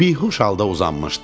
Bihuş halda uzanmışdım.